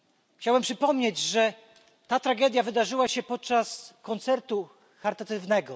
Chciałbym przypomnieć, że ta tragedia wydarzyła się podczas koncertu charytatywnego.